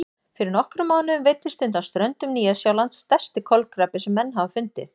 Fyrir nokkrum mánuðum veiddist undan ströndum Nýja-Sjálands stærsti kolkrabbi sem menn hafa fundið.